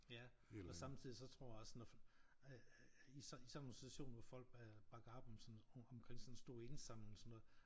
Ja og samtidigt så tror jeg også når at at i sådan nogen situationer hvor folk bakker op om om sådan en stor indsamling og sådan noget